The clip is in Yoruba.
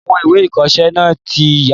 Àwọn ìwé ìkọsẹ́ náà tí ya